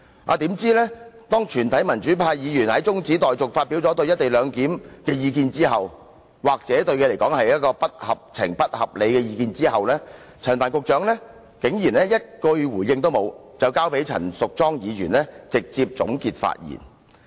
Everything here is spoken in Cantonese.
豈料當全體民主派議員就中止待續議案發表對"一地兩檢"的意見後——這些意見對他來說或許是不合情、不合理——陳帆局長竟然一句也沒有回應，便交由陳淑莊議員直接總結發言。